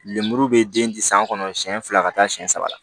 Lemuru be den di san kɔnɔ siɲɛ fila ka taa siyɛn saba